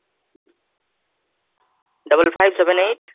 double five seven eight